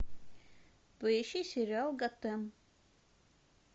поищи сериал готэм